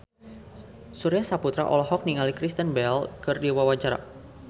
Surya Saputra olohok ningali Kristen Bell keur diwawancara